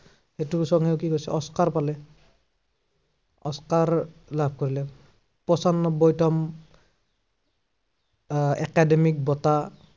এইটো song য়েও কি হৈছে, অস্কাৰ পালে। অস্কাৰ লাভ কৰিলে। পঞ্চান্নব্বৈতম আহ একাডেমিক বঁটা